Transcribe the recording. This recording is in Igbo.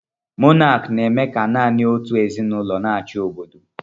Mọnaki na-eme ka nanị otú ezinụlọ n'achi obodo